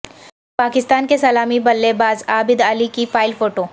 پاکستان کے سلامی بلے باز عابد علی کی فائل فوٹو